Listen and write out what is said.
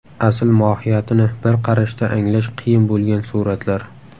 Asl mohiyatini bir qarashda anglash qiyin bo‘lgan suratlar .